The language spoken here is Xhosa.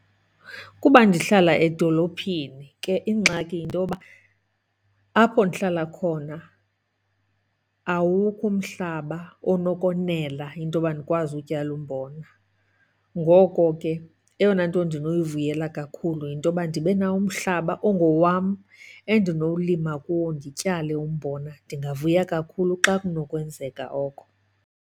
Kuba ndihlala edolophini ke ingxaki yintoba apho ndihlala khona awukho umhlaba onokonela intoba ndikwazi utyala umbona. Ngoko ke eyona nto ndinoyivuyela kakhulu yintoba ndibe nawo umhlaba ongowam endinolima kuwo ndityale umbona. Ndingavuya kakhulu xa kunokwenzeka oko.